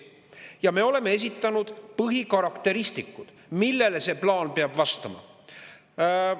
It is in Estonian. Ja me oleme esitanud põhikarakteristikud, millele see plaan peab vastama.